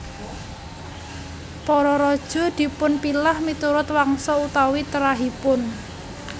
Para raja dipunpilah miturut wangsa utawi trahipun